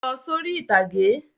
Lọ sórí ìtàgé!